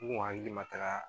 U kun hakili ma taga